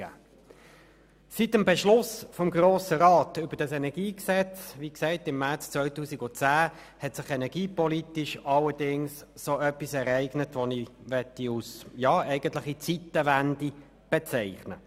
Seit dem Beschluss des Grossen Rats über dieses Energiegesetz hat sich energiepolitisch allerdings eine Art Zeitenwende ereignet.